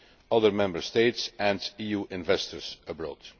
other Member States and EU investors abroad.